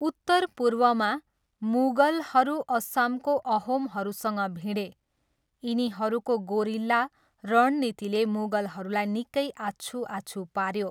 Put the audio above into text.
उत्तरपूर्वमा, मुगलहरू असमको अहोमहरूसँग भिडे, यिनीहरूको गोरिल्ला रणनीतिले मुगलहरूलाई निकै आछुआछु पाऱ्यो।